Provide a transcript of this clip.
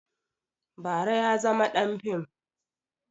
Bara ya zama ɗan fim